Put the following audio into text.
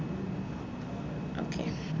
okay